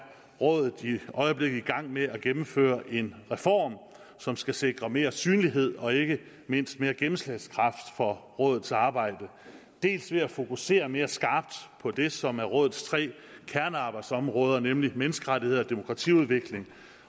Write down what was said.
rådet i øjeblikket i gang med at gennemføre en reform som skal sikre mere synlighed og ikke mindst mere gennemslagskraft for rådets arbejde dels ved at fokusere mere skarpt på det som er rådets tre kernearbejdsområder nemlig menneskerettigheder demokratiudvikling